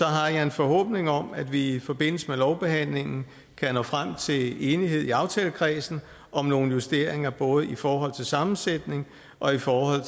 har jeg en forhåbning om at vi i forbindelse med lovbehandlingen kan nå frem til enighed i aftalekredsen om nogle justeringer både i forhold til sammensætning og i forhold